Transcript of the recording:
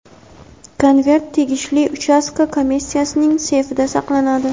konvert tegishli uchastka komissiyasining seyfida saqlanadi.